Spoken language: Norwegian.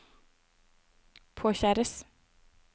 påkjæres